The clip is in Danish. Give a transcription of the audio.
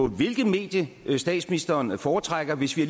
hvilket medie statsministeren foretrækker hvis vi